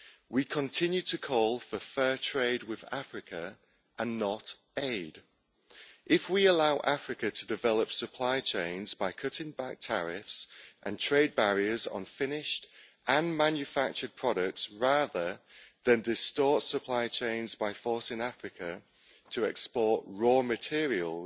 We continue to call for fair trade with Africa, and not aid. If we allow Africa to develop supply chains by cutting back tariffs and trade barriers on finished and manufactured products, rather than distorting supply chains by forcing Africa to export raw materials,